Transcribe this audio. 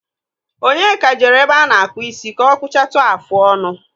Onyeka jere ebe ánà-àkpù isi kà ọ kpụchatụ áfụ ọnụ.